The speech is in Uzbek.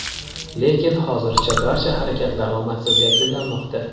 lekin hozircha barcha harakatlar omadsiz yakunlanmoqda.